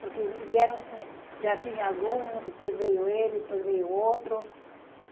Porque vieram, já tinha algum, depois veio ele, depois veio outro.